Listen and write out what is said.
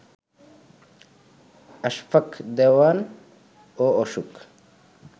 আশফাক দেওয়ান ও অশোক